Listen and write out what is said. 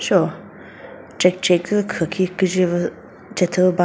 sheo check check zü khwü khi küdqwü püh ba.